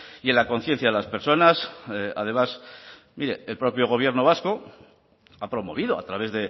y en la conciencia de las personas además mire el propio gobierno vasco ha promovido a través